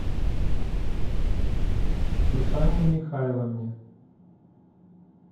сусанне михайловне